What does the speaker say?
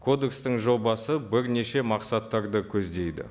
кодекстің жобасы бірнеше мақсаттарды көздейді